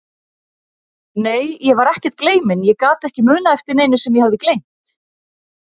Nei, ég var ekkert gleyminn, ég gat ekki munað eftir neinu sem ég hafði gleymt.